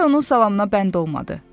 Bembə onun salamına bənd olmadı.